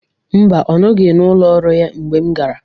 Mba, ọ nọghị n'ụlọ ọrụ ya ngbe m gara.